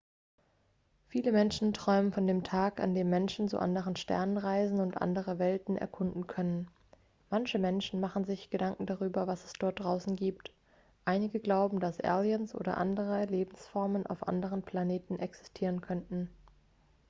viele menschen träumen von dem tag an dem menschen zu anderen sternen reisen und andere welten erkunden können manche menschen machen sich gedanken darüber was es dort draußen gibt einige glauben dass aliens oder andere lebensformen auf anderen planeten existieren könnten